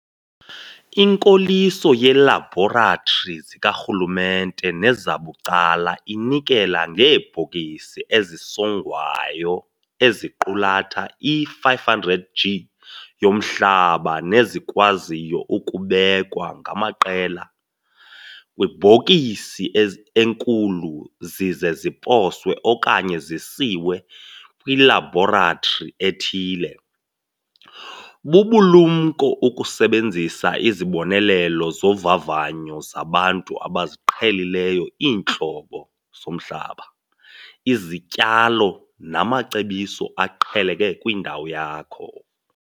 Inkoliso yeelabhoratri zikarhulumente nezabucala inikela ngeebhokisi ezisongwayo eziqulatha i-500 g yomhlaba nezikwaziyo ukubekwa ngamaqela kwibhokisi enkulu zize ziposwe okanye zisiwe kwilabhoratri ethile. Bubulumko ukusebenzisa izibonelelo zovavanyo zabantu abaziqhelileyo iintlobo zomhlaba, izityalo namacebiso aqheleke kwindawo yakho.